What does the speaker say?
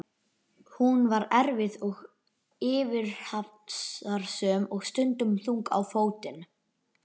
Hún var erfið og fyrirhafnarsöm og stundum þung á fótinn.